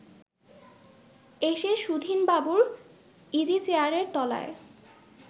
এসে সুধীনবাবুর ইজিচেয়ারের তলায়